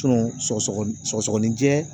sɔgɔsɔgɔni sɔgɔsɔgɔninjɛ